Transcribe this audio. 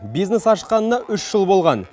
бизнес ашқанына үш жыл болған